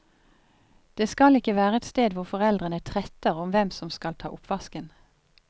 Det skal ikke være et sted hvor foreldrene tretter om hvem som skal ta oppvasken.